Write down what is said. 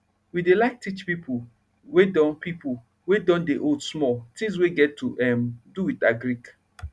we dey like teach pipo wey don pipo wey don dey old small tins wey get to um do with agric